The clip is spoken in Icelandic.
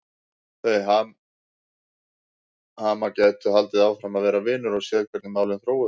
Þau Hemmi gætu haldið áfram að vera vinir og séð hvernig málin þróuðust.